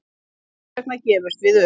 Þess vegna gefumst við upp